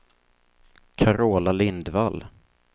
Carola Lindvall